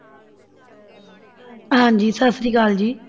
ਹਾਂਜੀ ਸਤਿ ਸ੍ਰੀ ਅਕਾਲ ਜੀ।